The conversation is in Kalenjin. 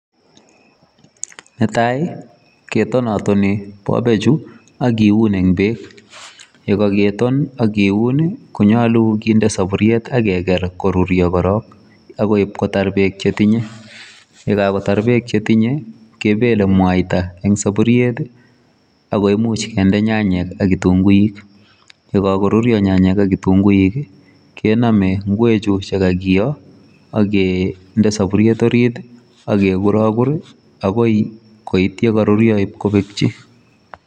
Netai, ketonotoni bobechu akiun eng beek. Yekageton ak kiun, konyolu kinde saburiet ak keger koruryo korok agoi ibkotar beek chetinye. Ye kagotar beek chetinyei, kebele mwaita eng saburiet, ago imuch kende nyanyek ak kitunguik. Ye kagoruryo nyanyek ak kitunguik, kename ngwechu kagiyo agende saburiet orit, agegurogur, agoi koit ye karuryo ibkobekchi.